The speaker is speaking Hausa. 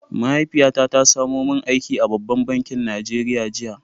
Mahaifiyata ta samu aiki a babban bankin Najeriya jiya.